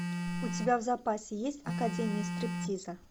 у тебя в запасе есть академия стриптиза